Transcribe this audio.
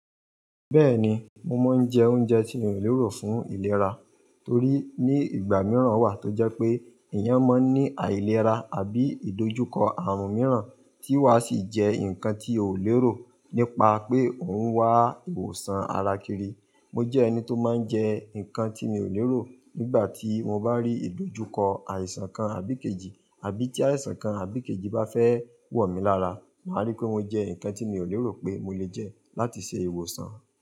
Bẹ́ẹ̀ni, mo máa ń jẹ oúnjẹ tí n o lérò fún ìlera torí ní ìgbà mìíràn wà tó jẹ́ pé èèyàn máa ń ní àìlera àbí ìdojúkọ àrùn mìíràn tí wàa sì jẹ́ nǹkan tí ò lérò nípa pé òun wá ìwòsàn ara kiri. Mo jẹ́ ẹni tó máa ń jẹ nǹkan tí mi ò lérò nígbà tí mo bá rí ìdojúkọ àìsàn kan àbí kejì àbí tí àìsàn kan àbí kejì bá fẹ́ wò mí lára, màá rí pé mo jẹ nǹkan tí mi ò lérò pé mo lè jẹ láti ṣe ìwòsàn.